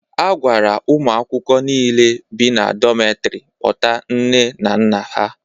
A gwara ụmụ akwụkwọ niile bi na dometri kpọta nne na nna ha.